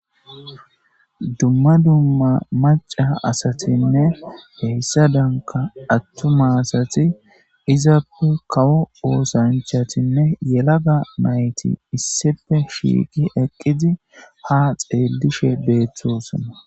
Dumma dumma maca asatinne heyssa danka attuma asati izappu kawo oosanchatinne yelaga nayti issipe shiiqi eqqizi ha xeelishe beeththosana.